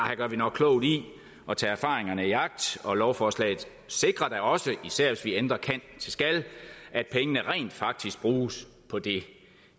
her gør vi nok klogt i at tage erfaringerne i agt og lovforslaget sikrer da også især hvis vi ændrer kan til skal at pengene rent faktisk bruges på det